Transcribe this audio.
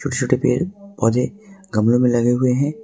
छोटे पेड़ पौधे गमलों में लगे हुए हैं।